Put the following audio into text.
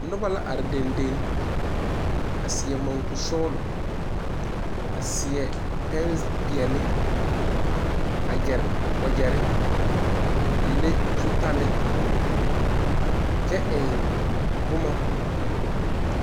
Noba la are dendeŋ a seɛ mɔnkosɔgla a seɛ pɛnpeɛle a gyere wagyɛre a le zutalli kyɛ eŋ boma.